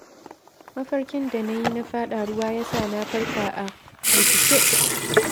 Mafarkin da na yi na faɗa ruwa, ya sa na farka a firgice.